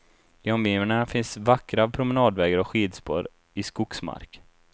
I omgivningarna finns vackra promenadvägar och skidspår i skogsmark.